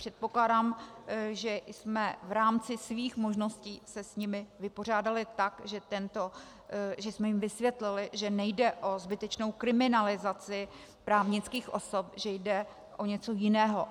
Předpokládám, že jsme v rámci svých možností se s nimi vypořádali tak, že jsme jim vysvětlili, že nejde o zbytečnou kriminalizaci právnických osob, že jde o něco jiného.